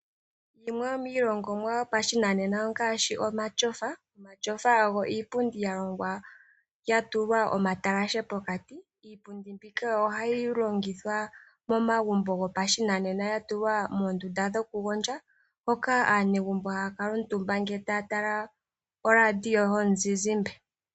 Yimwe yomiilongomwa yopashinanena ongaashi omatyofa. Omatyofa ogo iipundi ya longwa ya tulwa omatalashe pokati. Iipundi mbika ohayi longithwa momagumbo gopashinanena ya tulwa moondunda dhokugondja, hoka aanegumbo haya kala omutumba, ngele taya tala oradio yomuzizimba.